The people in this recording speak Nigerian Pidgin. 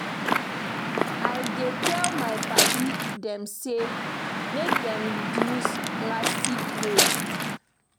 I dey tell my paddy dem sey make dem reduce plastic waste.